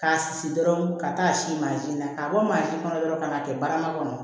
K'a susu dɔrɔn ka taa si mansin na k'a bɔ mansin kɔnɔ dɔrɔn ka n'a kɛ barama kɔnɔ